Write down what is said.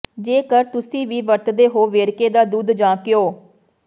ਜੇਕਰ ਤੁਸੀਂ ਵੀ ਵਰਤਦੇ ਹੋ ਵੇਰਕਾ ਦਾ ਦੁੱਧ ਜਾਂ ਘਿਓ